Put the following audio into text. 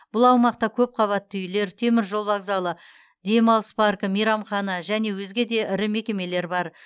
бұл аумақта көпқабатты үйлер теміржол вокзалы демалыс паркі мейрамхана және өзге де ірі мекемелер бар